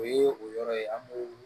O ye o yɔrɔ ye an b'o